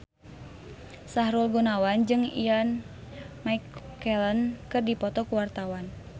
Sahrul Gunawan jeung Ian McKellen keur dipoto ku wartawan